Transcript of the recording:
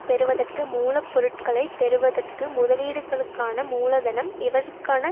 பெறுவதற்கு மூல பொருட்களை பெறுவதற்கு முதலீடுகளுக்கான மூலதனம் இவற்றுக்கான